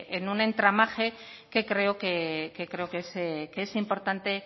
en un entramaje que creo que es importante